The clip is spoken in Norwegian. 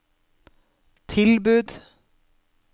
tilbud